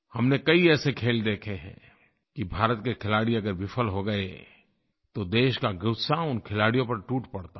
हमने कई ऐसे खेल देखे हैं कि भारत के खिलाड़ी अगर विफल हो गए तो देश का ग़ुस्सा उन खिलाड़ियों पर टूट पड़ता है